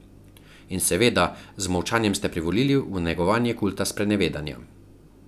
In, seveda, z molčanjem ste privolili v negovanje kulta sprenevedanja.